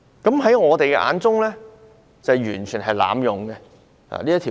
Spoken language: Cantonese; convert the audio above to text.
在我們的眼中，警方是完全濫用限聚令。